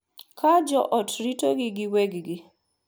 Ka jo ot ritogi giwegi,